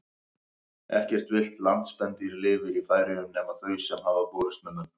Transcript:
Ekkert villt landspendýr lifir í Færeyjum nema þau sem hafa borist með mönnum.